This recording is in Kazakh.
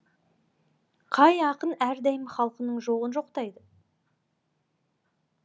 қай ақын әрдайым халқының жоғын жоқтайды